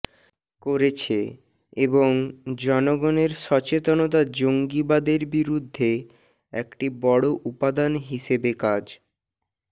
করেছে এবং জনগণের সচেতনতা জঙ্গিবাদের বিরুদ্ধে একটি বড় উপাদান হিসেবে কাজ